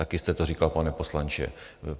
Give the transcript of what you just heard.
Také jste to říkal, pane poslanče.